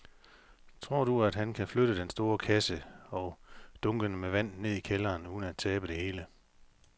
Tror du, at han kan flytte den store kasse og dunkene med vand ned i kælderen uden at tabe det hele?